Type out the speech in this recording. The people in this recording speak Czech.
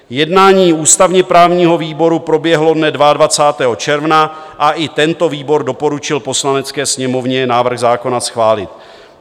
Jednání ústavně-právního výboru proběhlo dne 22. června a i tento výbor doporučil Poslanecké sněmovně návrh zákona schválit.